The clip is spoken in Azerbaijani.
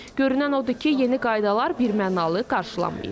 Görünən odur ki, yeni qaydalar birmənalı qarşılanmayıb.